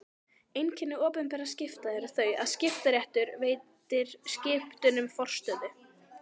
Einkenni opinberra skipta eru þau að skiptaréttur veitir skiptunum forstöðu.